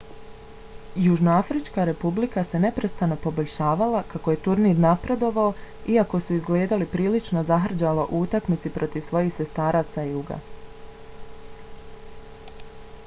južnoafrička republika se neprestano poboljšavala kako je turnir napredovao iako su izgledali prilično zahrđalo u utakmici protiv svojih sestara sa juga